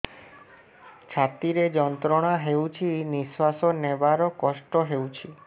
ଛାତି ରେ ଯନ୍ତ୍ରଣା ହେଉଛି ନିଶ୍ଵାସ ନେବାର କଷ୍ଟ ହେଉଛି